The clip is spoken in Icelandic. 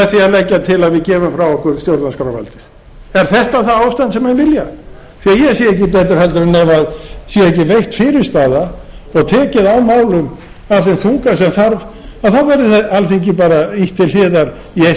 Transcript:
að leggja til að við gefum frá okkur stjórnarskrárvaldið er þetta það ástand sem menn vilja ég sé ekki betur en það sé ekki veitt fyrirstaða og tekið á málum af þeim þunga sem þarf þá verði alþingi bara ýtt til hliðar í eitt skipti fyrir